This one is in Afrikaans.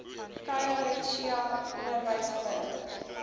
khayelitsha onderwys forum